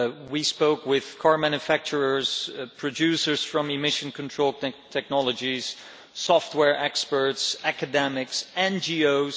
We spoke with car manufacturers, producers of emission control technologies, software experts, academics, NGOs.